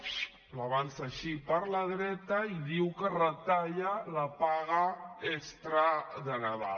fiu l’avança així per la dreta i diu que retalla la paga extra de nadal